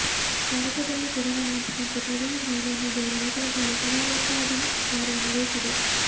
ಭಾರತದಲ್ಲೂ ಕೊರೊನಾ ನಿಯಂತ್ರಣಕ್ಕೆ ಪ್ರಧಾನಿ ನರೇಂದ್ರ ಮೋದಿಯವರ ನೇತೃತ್ವದಲ್ಲಿ ಸಮಾರೋಪಾದಿ ಕಾರ್ಯ ನಡೆಯುತ್ತಿದೆ